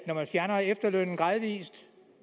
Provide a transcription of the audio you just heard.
at man fjerner efterlønnen gradvis